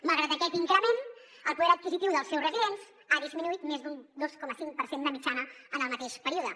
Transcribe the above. malgrat aquest increment el poder adquisitiu dels seus residents ha disminuït més d’un dos coma cinc per cent de mitjana en el mateix període